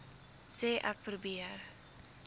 sê ek probeer